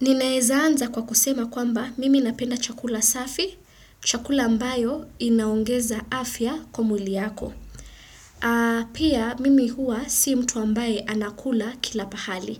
Ninaezaanza kwa kusema kwamba mimi napenda chakula safi, chakula ambayo inaongeza afya kwa mwili yako. Pia mimi huwa si mtu ambaye anakula kila pahali.